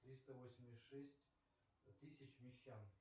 триста восемьдесят шесть тысяч мещан